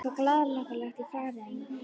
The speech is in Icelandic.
Það var eitthvað glaðhlakkalegt í fari hennar.